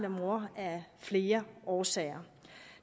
og mor af flere årsager